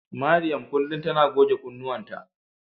Mariam kullum tana goge kunnuwanta.